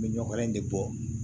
N bɛ ɲɔkɛnɛ in de bɔ